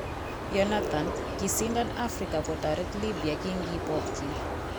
Yonathan:,Kisindan Africa kotoret Libya kinkipokyi